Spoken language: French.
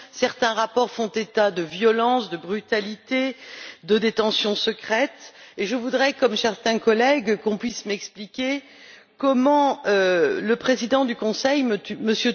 Certains rapports font état de violences, de brutalités, de détentions secrètes, et je voudrais, comme certains collègues, qu'on puisse m'expliquer comment le président du Conseil, M.